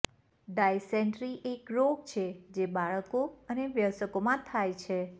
dysentery એક રોગ છે જે બાળકો અને વયસ્કોમાં થાય છે